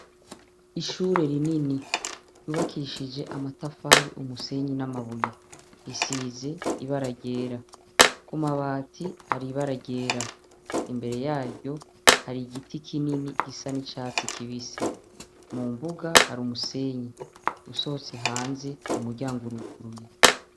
Ishure rinini ryubakishije amatafari, umusenyi n'amabuye. Risize ibara ryera, ku mabati hari ibara ryera. Imbere yaryo hari igiti kinini gisa n'icatsi kibisi, mu mbuga hari umusenyi, usohotse hanze umuryango uruguruye.